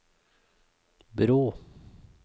bro